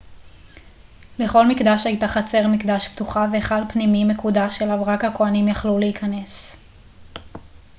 לכל מקדש הייתה חצר מקדש פתוחה והיכל פנימי מקודש אליו רק הכוהנים יכלו להיכנס